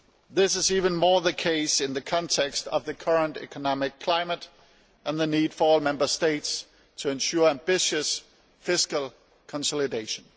This is even more the case in the context of the current economic climate and the need for all the Member States to ensure ambitious, fiscal consolidation.